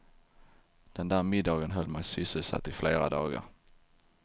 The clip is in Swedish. Den där middagen höll mig sysselsatt i flera dagar.